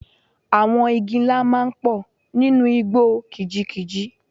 Àwọn igi ńlá máa ń pọ̀ nínú igbó kìjikìji.